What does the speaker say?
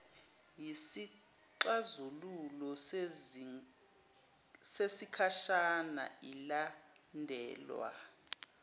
yisixazululo sesikhashana ilandelwa